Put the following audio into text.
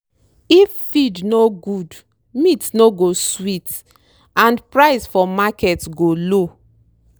if feed no good meat no go sweet and price for market go low.